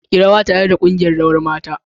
Yi rawa tare da kungiyar Rawar mata.